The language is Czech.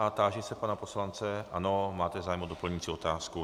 A táži se pana poslance - ano, máte zájem o doplňující otázku.